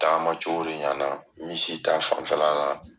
Taama cogo de ɲana misi ta fanfɛla la.